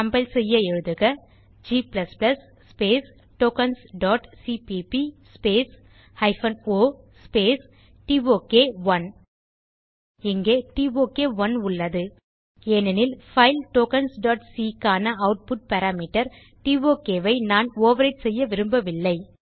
compile செய்ய எழுதுக G tokensசிபிபி ஒ டோக் 1 இங்கே டோக்1 உள்ளது ஏனெனில் பைல் tokensசி க்கான ஆட்புட் பாராமீட்டர் டோக் ஐ நான் ஓவர்விரைட் செய்யவிரும்பவில்லை